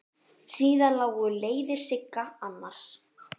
Síðar lágu leiðir Sigga annað.